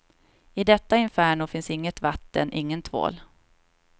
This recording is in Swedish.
I detta inferno finns inget vatten, ingen tvål.